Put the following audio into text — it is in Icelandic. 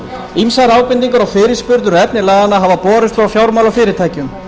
ýmsar ábendingar og fyrirspurnir um efni laganna hafa borist frá fjármálafyrirtækjum